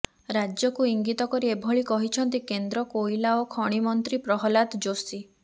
ରାଜ୍ୟକୁ ଇଙ୍ଗିତ କରି ଏଭଳି କହିଛନ୍ତି କେନ୍ଦ୍ର କୋଇଲା ଓ ଖଣିମନ୍ତ୍ରୀ ପ୍ରହଲ୍ଲାଦ ଯୋଶୀ